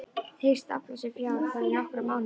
Hyggst afla sér fjár þar í nokkra mánuði.